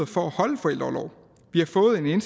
for at holde forældreorlov vi har fået en